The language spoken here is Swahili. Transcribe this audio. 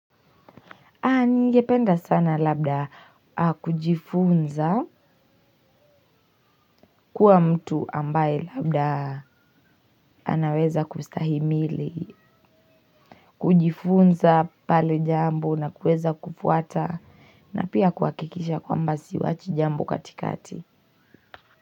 Angependa sana labda kujifunza kuwa mtu ambaye labda anaweza kustahimili, kujifunza pale jambo na kueza kufuata na pia kuhakikisha kwamba siachi jambo katikati.